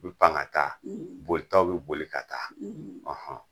Bi pan ka taa bolitaw bi boli ka taa